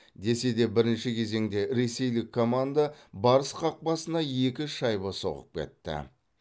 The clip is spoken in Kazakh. десе де бірінші кезеңде ресейлік команда барыс қақпасына екі шайба соғып кетті